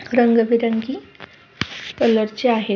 रंगबेरंगी कलरचे आहेत.